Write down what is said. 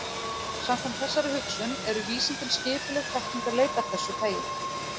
Samkvæmt þessari hugsun eru vísindin skipuleg þekkingarleit af þessu tagi.